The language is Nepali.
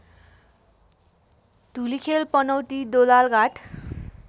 धुलिखेल पनौती दोलालघाट